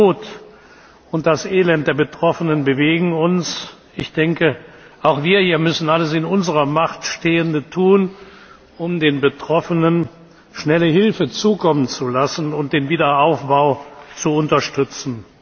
Die Not und das Elend der Betroffenen bewegen uns. Auch wir hier müssen alles in unserer Macht Stehende tun, um den Betroffenen schnelle Hilfe zukommen zu lassen und den Wiederaufbau zu unterstützen.